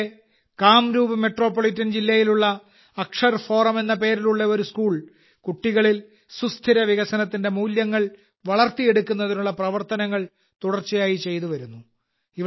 അസമിലെ കാംരൂപ് മെട്രോപൊളിറ്റൻ ജില്ലയിലുള്ള അക്ഷർ ഫോറം എന്ന പേരിലുള്ള ഒരു സ്കൂൾ കുട്ടികളിൽ സുസ്ഥിര വികസനത്തിന്റെ മൂല്യങ്ങൾ വളർത്തിയെടുക്കുന്നതിനുള്ള പ്രവർത്തനങ്ങൾ തുടർച്ചയായി ചെയ്തുവരുന്നു